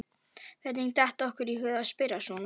Hvernig datt okkur í hug að spyrja svona!